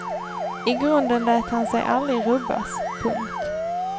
I grunden lät han sig aldrig rubbas. punkt